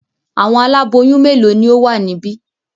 Àwọn aláboyún mélòó ni ó wà níbí?